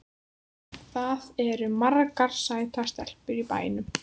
Það eru margar sætar stelpur í bænum.